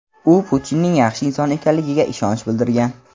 u Putinning yaxshi inson ekanligiga ishonch bildirgan.